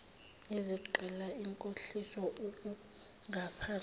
izigqila inkohliso ukungaphathwa